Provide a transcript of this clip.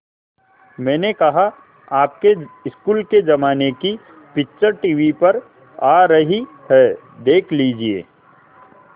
मैंने कहा आपके स्कूल के ज़माने की पिक्चर टीवी पर आ रही है देख लीजिये